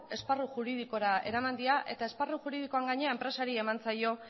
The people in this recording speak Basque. esparru juridikora eraman dira eta esparru juridikoan gainera enpresari eman zaio